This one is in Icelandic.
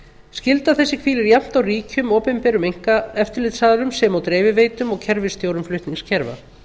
skylda þessi hvílir jafnt á ríkjum opinberum eftirlitsaðilum sem og dreifiveitum og kerfisstjórum flutningskerfa